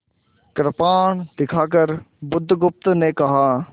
कृपाण दिखाकर बुधगुप्त ने कहा